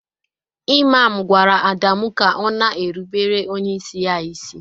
Ịmam gwara Adamu ka Ọ na-erụbere onyeisi ya ịsị